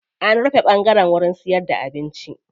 An rufe ɓangaren siyarda da abinci.